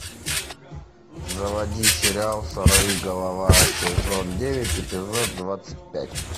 заводи сериал сорви голова сезон девять эпизод двадцать пять